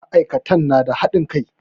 Ma'aikatan na da haɗin kai.